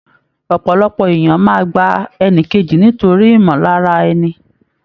Ọpọlọpọ èèyàn máa gbà ẹnìkejì nítorí ìmọ lára ẹni.